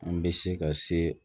An bɛ se ka se